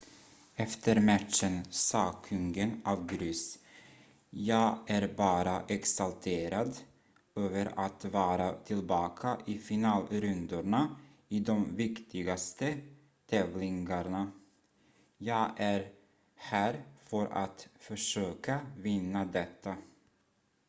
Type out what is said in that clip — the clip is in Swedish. "efter matchen sa kungen av grus: "jag är bara exalterad över att vara tillbaka i finalrundorna i de viktigaste tävlingarna. jag är här för att försöka vinna detta.""